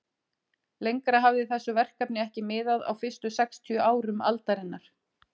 Lengra hafði þessu verkefni ekki miðað á fyrstu sextíu árum aldarinnar.